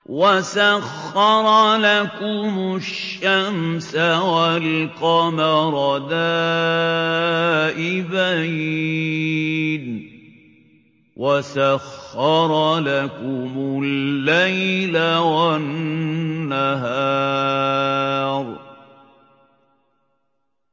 وَسَخَّرَ لَكُمُ الشَّمْسَ وَالْقَمَرَ دَائِبَيْنِ ۖ وَسَخَّرَ لَكُمُ اللَّيْلَ وَالنَّهَارَ